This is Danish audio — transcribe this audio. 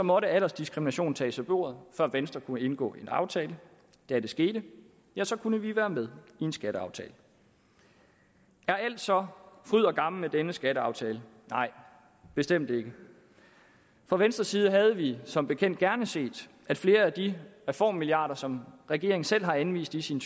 måtte aldersdiskriminationen tages af bordet før venstre kunne indgå en aftale da det skete ja så kunne vi være med i en skatteaftale er alt så er fryd og gammen med denne skatteaftale nej bestemt ikke fra venstres side havde vi som bekendt gerne set at flere af de reformmilliarder som regeringen selv har anvist i sin